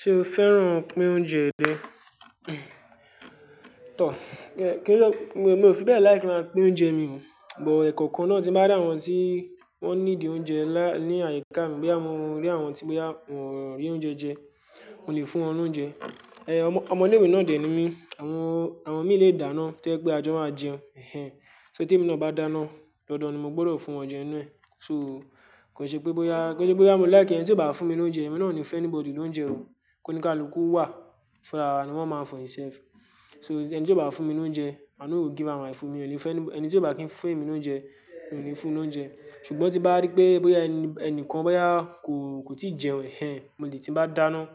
Ṣé o fẹ́ràn pín oúnjẹ rẹ? Tọ̀, kí ló-- mo, mo ò fi bẹ́ẹ̀ like kí máa pín oúnjẹ mi mọ́, but ẹ̀kọ̀kan náà tí bá rí awọ́n tí wọ́n need oúnjẹ lá-- ní àyíká mi bóyá mórí àwọn tí bóyá, wọn rí oúnjẹ jẹ, mo lè fún wọn lóúnjẹ. Ọmọ, ọmọ ilé ìwé náà dẹ̀ ní mi, àwọn, àwọn mi lè dáná tójẹ́ pé ajọ máa jẹun. Ẹ̀hẹ̀hn, só tí èmi náà bá dáná, dandan ni mo gbọ́dọ̀ fún wọn jẹ inú ẹ̀. So kò ṣe pé bóyá, kò ṣe pé bóyá mo like ẹni tí ó bá fún mi lóúnjẹ, èmi náà ò ní fún anybody lóúnjẹ o. Kó ní káàlukú wà fún rara ni one man for himself. So ẹni tí ó bá fún mi lóúnjẹ, i no go give am my food mi ò lè fún ẹni tí ó bá kí ń fún èmi lóúnjẹ, mi ò ní fún un lóúnjẹ. Ṣùgbọ́n tí bá rí pé bóyá ẹni, ẹnìkan bóyá kò, kò tíì jẹun, ẹ̀hẹ̀hn, mo lè tí bá dáná,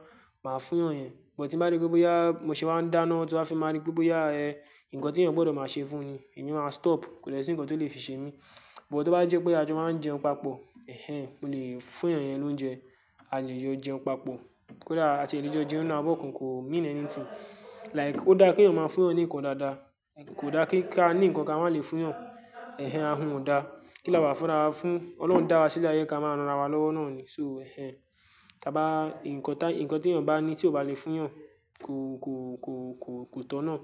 màá fún èyàn yẹn. But tí mo bá rí pé bóyá mo ṣe wa ń dáná tọ́ á fi máa rí pé bóyá ẹ̀, nǹkan tí ẹ̀yin gbọ́dọ̀ máa ṣe fún ni, èmi máa stop. Kòde sí ǹkan tó lè fi ṣe mí. But tó bá jẹ́ pé ajọ máa ń jẹun papọ̀, ẹ̀hẹ̀hn, mo lè fún èyàn yẹn lóúnjẹ. A lè jọ jẹun papọ̀. Ko dá-- àti lè jọ jẹun nínú abọ́kàn kò mean anything. Like ó dá kí ẹ̀yin ó máa fún ọ̀yàn nǹkan dáadáa. Kò dá kí ká ní nǹkan kí a má lè fún yàn. Ẹ̀hẹ̀hn, ahun ò dá. Kí la wà fúnra fún? Ọlọ́run dá wa sílẹ̀ ayé, ká máa ranra wa lọ́wọ́ náà ni. So ẹ̀hẹ̀hn, tí a bá nǹkan tá-- nǹkan tí ẹ̀yin bá ní tí ò bá lè fún èyàn kò, kò, kò, kò, kò tọ̀nà.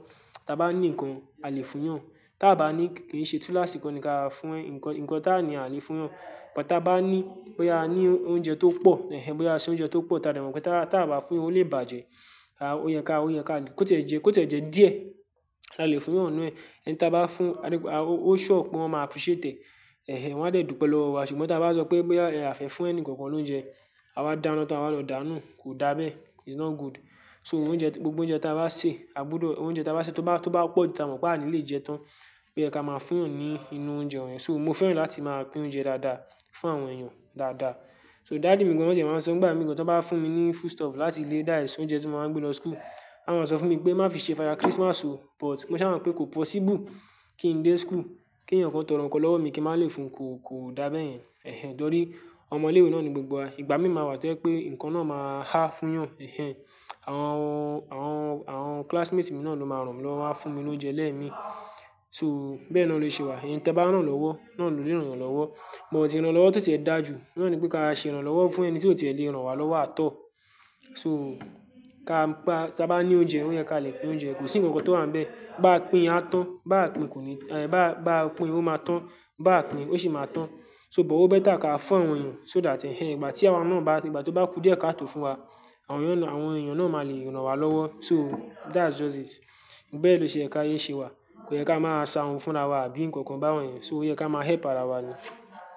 Tí a bá ní nǹkan, a lè fún èyàn. Tí a bá ní kí n ṣe tú lásìkò ni ká fún ẹ. Nǹkan, nǹkan táàní a lè fún ọ̀yàn. But tí a bá ní bóyá a ní oúnjẹ tó pọ̀, ẹ̀hẹ̀hn, bóyá aṣe oúnjẹ tó pọ̀ táa dè mo pé táa, tí a bá fún yan ó lè bàjẹ́. A, ó yẹ ká, ó yẹ ká kò tẹ́ jẹ, kò tẹ́ jẹ díẹ̀. La lè fún èyàn nù ẹ́. Ẹni tí a bá fún, a ní pé a, ó, ó sure pé wọ́n máa appreciate ẹ̀. Ẹ̀hẹ̀hn, wọ́n á de dúpẹ́ lọ́wọ́ wa. Ṣùgbọ́n tí a bá sọ pé bóyá ẹ àfẹ́ fún ẹni kankan lóúnjẹ, a bá dáná tọ́ á wa lọ̀ọ́ dáná, kò dá bẹ́ẹ̀. It's not good. So oúnjẹ, gbogbo oúnjẹ tí a bá sè, a gbọ́dọ̀-- oúnjẹ tí a bá sè tó bá, tó bá pọ̀ ju tí a mọ̀ pé àní lè jẹ́ tán, oye ká máa fún èyàn ní inú oúnjẹ yẹn. So mo fẹ́ràn láti máa pín oúnjẹ dáadáa fún àwọn ẹ̀yàn dáadáa. So daddy mi gan wọn tí máa ń sọ, ìgbà mìíràn tí wọ́n bá fún mi ní food stuff láti ilé that's oúnjẹ tí mo máa ń gbé lọ school, wọ́n máa sọ fún mi pé má fi ṣe father Christmas o. But mo sa máa pé kò possible kí n dé school, kí ẹ̀yan kan tó nkan lọ́wọ́ mi kí màá le fún kò, kò dá beyen. Ẹ̀hẹ̀hn, tọ́rí ọmọ ilé ìwé náà ni gbogbo ìgbà mí máa wà tójẹ́ pé ǹkan náà máa há fún èyàn. Ẹ̀hẹ̀hn, àwọn, àwọn, àwọn classmates mi náà ló máa ràn mi lọ́wọ́ wa fún mi lóúnjẹ lẹ́ẹ̀ mi. So bẹ́ẹ̀ na ló ṣe wà. Ẹni tí ẹ bá rán lọ́wọ́ náà ló lè ràn èyàn lọ́wọ́. But tí irán lọ́wọ́ tó tí ẹ dá ju, ohun na ni pé ká ṣe iran lọ́wọ́ fún ẹni tí ó ti e lè rán wa lọ́wọ́ at all. So ká pa, tí a bá ní oúnjẹ, ó yẹ ká lè pín oúnjẹ. Kò sí ǹkan kan tó wan bẹ́ẹ̀. Bá pín á tán, bá pín kò ní--bá, bá pín ó máa tán, bá pín ó sì máa tán. So but ó better ká fún àwọn ẹ̀yàn so that ẹ̀hẹ̀hn, ìgbà tí àwa náà bá, ìgbà tí ó bá kú díẹ̀ ká tó fún wa, àwọn èyàn na má lè ràn wá lọ́wọ́ so that's just it bẹ́ ló ṣe yẹ kí ayé ṣe wà kóyẹ kámá ṣe ahun fún ara wa àbí nkan-nkan bayen so ó yẹ kí amá help ara wa ni.